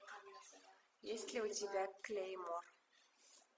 есть ли у тебя клеймо